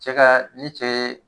Cɛ ka ni cɛ ye